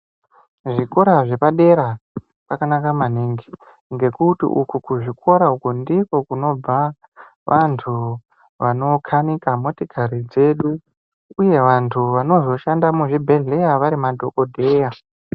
Zvikora zveepadera zvakanaka maningi ngekuti uku kuzvikora uku ndikwo kunobva vantu vanokanika motokari dzedu. Uye vanhu vanozoshanda muzvibhehlera vari madhokodheya.